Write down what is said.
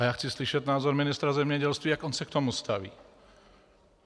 A já chci slyšet názor ministra zemědělství, jak on se k tomu staví.